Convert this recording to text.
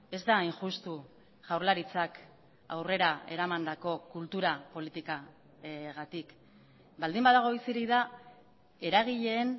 ez da hain justu jaurlaritzak aurrera eramandako kultura politikagatik baldin badago bizirik da eragileen